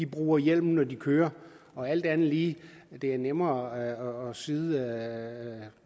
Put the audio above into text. bruger hjelm når de kører og alt andet lige er det nemmere at sidde